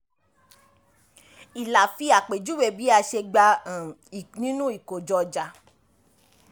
ìlà fi àpèjúwe bí a ṣe gba um nínú ìkojọ-ọjà